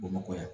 Bamakɔ yan